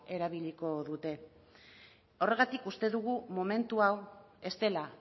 erabiliko dute horregatik uste dugu momentu hau ez dela